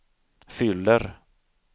fyller